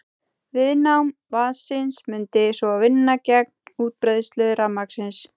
Viðnám vatnsins mundi svo vinna gegn útbreiðslu rafmagnsins.